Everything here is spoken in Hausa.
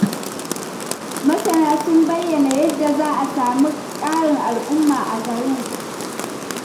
Masana sun bayyana yadda za a sami ƙarin al'umma a garin.